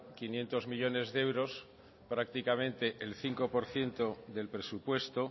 quinientos millónes de euros prácticamente el cinco por ciento del presupuesto